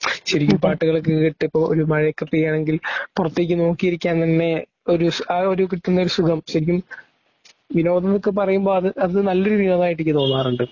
ശരിക്കും പാട്ടുകൾ കേൾക്കുമ്പോൾ ഒരു മഴയൊക്കെ പെയ്യാണെങ്കിൽ പുറത്തേക്കു നോക്കിയിരിക്കാൻ തന്നെ ഒരു ആ ഒരു കിട്ടുന്ന ഒരു സുഖം ശരിക്കും വിനോദം എന്നൊക്കെ പറയുമ്പോളത് അത് നല്ലൊരു വിനോദമായിട്ടു എനിക്ക് തോന്നാറുണ്ട്.